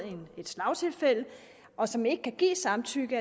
et slagtilfælde og som ikke kan give samtykke